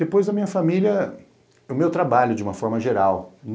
Depois da minha família, o meu trabalho, de uma forma geral.